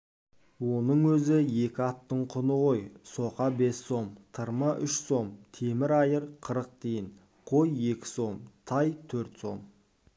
оның өзі екі аттың құны ғой соқа бес сом тырма үш сом темір айыр қырық тиын қой екі сом тай төрт сом